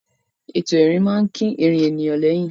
Ètò ìrìn máa ń kín ìrìn ènìyàn lẹ́yìn.